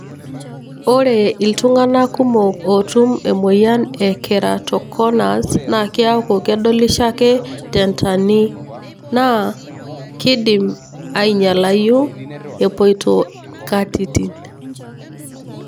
ore iltunganaa kumok otum emoyian e keratoconus na kiaku kedolisho ake tentanii. Na kindim anyialayu epoito inkatitin.